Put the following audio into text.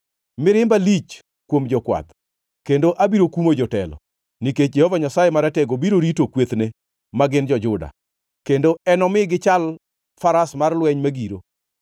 “Mirimba lich kuom jokwath, kendo abiro kumo jotelo; nikech Jehova Nyasaye Maratego biro rito kwethne, ma gin jo-Juda, kendo enomi gichal faras mar lweny ma giro.